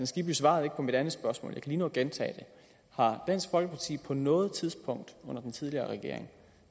skibby svarede ikke på mit andet spørgsmål jeg lige nå at gentage det har dansk folkeparti på noget tidspunkt under den tidligere regering